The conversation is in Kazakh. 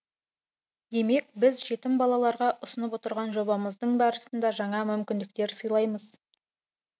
демек біз жетім балаларға ұсынып отырған жобамыздың барысында жаңа мүмкіндіктер сыйлаймыз